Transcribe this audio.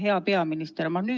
Hea peaminister!